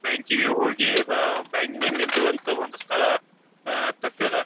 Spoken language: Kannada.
ಬ್ಯಾಂಕಿ ಗೆ ಹೋಗಿ ವಹ್ ಬ್ಯಾಂಕ್ ನಲ್ಲಿ ನಿಲ್ಲುವಂತಹ ಒಂದು ಸ್ಥಳ ಅಹ್ ತಪ್ಪ್ಯಾದ.